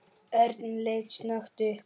Örn leit snöggt upp.